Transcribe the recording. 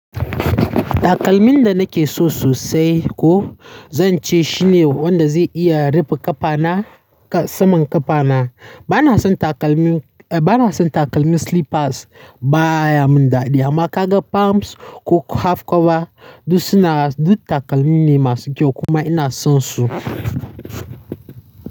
Takalmin da nake so sosai ko zan ce shine wanda zai iya rufe ƙafana saman ƙafana. Bana son takalmin, bana son takalmin slippers baya mun dadi amma ka ga pums ko half cover duk su na duk takalmi ne masu kyau kuma ina son su.